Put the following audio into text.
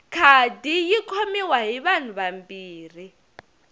khadi yi khomiwa hi vanhu vambirhi